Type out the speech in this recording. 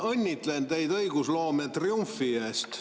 Ma õnnitlen teid õigusloome triumfi puhul!